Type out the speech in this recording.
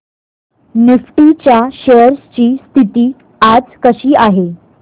Nifty च्या shares ची स्थिती आज कशी आहे